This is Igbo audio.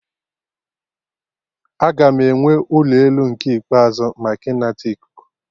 Aga m ewe ụlọ elu nke ikpeazụ maka ịnata ikuku